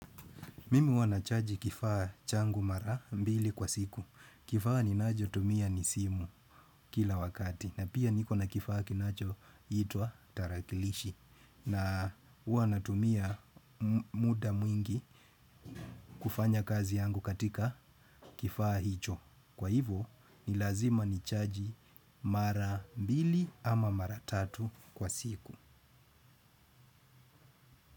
Mimi ua nachaji kifaa changu mara mbili kwa siku. Kifaa ninajotumia ni simu kila wakati. Na pia niko na kifaa kinachoitwa tarakilishi. Na ua natumia muda mwingi kufanya kazi yangu katika kifaa hicho. Kwa hivo ni lazima nichaji mara mbili ama mara tatu kwa siku.